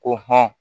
Ko hɔn